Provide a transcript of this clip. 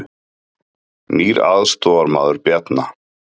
Nýr aðstoðarmaður Bjarna